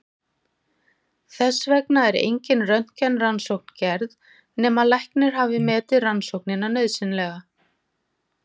Þess vegna er engin röntgenrannsókn gerð nema læknir hafi metið rannsóknina nauðsynlega.